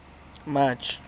march